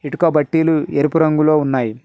ఇటుక బట్టీలు ఎరుపు రంగులో ఉన్నాయి.